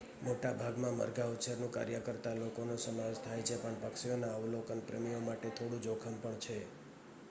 મોટાભાગનામાં મરઘાં ઉછેરનું કાર્ય કરતા લોકોનો સમાવેશ થાય છે પણ પક્ષીઓના અવલોકનપ્રેમીઓ માટે થોડું જોખમ પણ છે